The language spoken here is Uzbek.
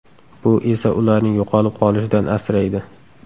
Bu esa ularning yo‘qolib qolishidan asraydi.